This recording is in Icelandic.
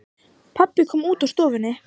Pabbi kom út úr stofunni.